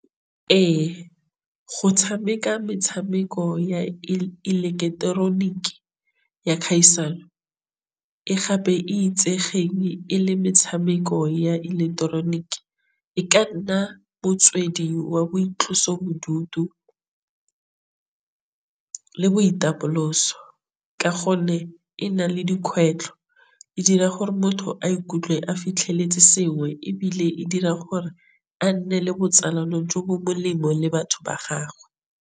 Ee, go tšhameka metšhameko ya ileketeroniki ya kgaisano e e le metšhameko ya ileketeroniki. E ka nna motswedi wa boitlosobodutu le boitapoloso ka gonne e na le dikgwetlho e dira gore motho a ikutlwe a fitlheletse sengwe, ebile e dira gore a nne le botsalano jo bo molemo le batho ba gagwe.